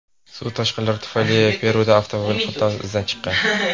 Suv toshqinlari tufayli Peruda avtomobil qatnovi izdan chiqqan.